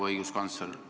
Proua õiguskantsler!